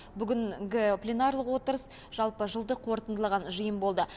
бүгінгі пленарлық отырыс жалпы жылды қорытындылаған жиын болды